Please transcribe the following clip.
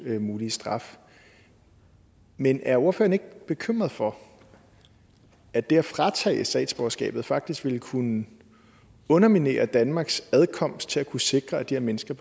mulige straf men er ordføreren ikke bekymret for at det at fratage dem statsborgerskabet faktisk ville kunne underminere danmarks adkomst til at kunne sikre at de her mennesker